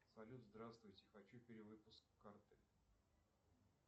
салют здравствуйте хочу перевыпуск карты